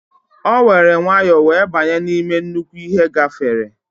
O were nwayo wee banye n'ime nnukwu ihe gafere.